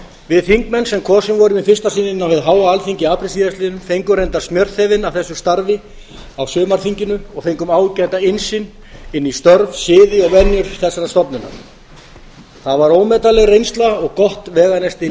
við þingmenn sem kosin vorum í fyrsta sinn inn á hið háa alþingi í apríl síðastliðnum fengum reyndar smjörþefinn af þessu starfi á sumarþinginu og fengum ágæta innsýn inn í störf siði og venjur þessarar stofnunar það er ómetanleg reynsla og gott veganesti inn í